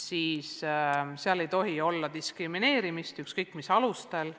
siis ei tohi seal olla diskrimineerimist mitte mingisugustel alustel.